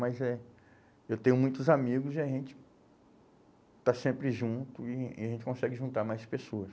Mas eh eu tenho muitos amigos e a gente está sempre junto e e a gente consegue juntar mais pessoas.